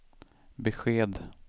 besked